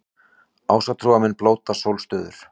Ásatrúarmenn blóta sólstöður